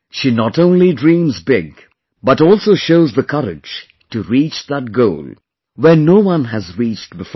She not only dreams big, but also shows the courage to reach that goal, where no one has reached before